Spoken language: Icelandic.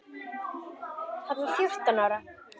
Hann var fjórtán ára.